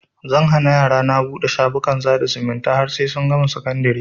Zan hana yarana buɗe shafukan sada zumunta har sai sun gama sakandari